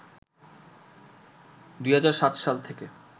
“২০০৭ সাল থেকে